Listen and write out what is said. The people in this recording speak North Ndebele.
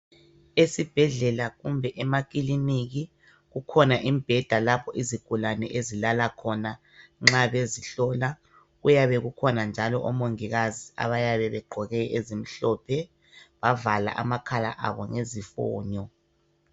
Esibhedlela kumbe emakiliniki kukhona imibheda lapho izigulane ezilala khona nxa bezihlola kuyabe kukhona njalo omongikazi abayabe begqoke ezimhlophe bavala amakhala abo ngezifonyo.